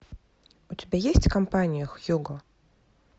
у тебя есть компания хьюго